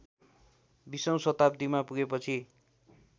बीसौँ शताब्‍दीमा पुगेपछि